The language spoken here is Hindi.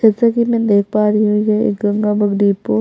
जैसा कि मैं देख पा रही हूँ ये एक गंगा बुक डिपो --